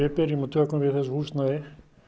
byrjum og tökum við þessu húsnæði